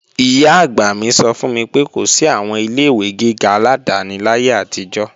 Ìyá-àgbà mi sọ fún mi pé kò sí àwọn ilé-ìwé gíga aládáni láyé àtijọ́